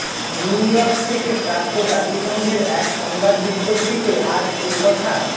New York থেকে প্রাপ্ত জাতিসংঘের এক সংবাদ বিজ্ঞপ্তিতে আজ এ কথা